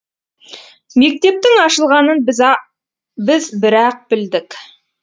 мектептің ашылғанын біз бір ақ білдік